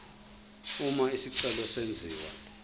uma isicelo senziwa